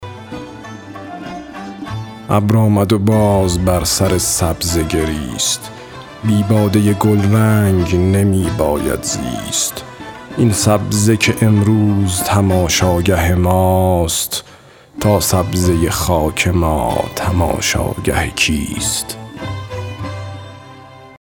ابر آمد و باز بر سر سبزه گریست بی باده گلرنگ نمی باید زیست این سبزه که امروز تماشاگه ماست تا سبزه خاک ما تماشاگه کیست